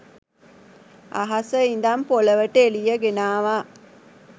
අහසෙ ඉඳන් පොළොවට එළිය ගෙනාවා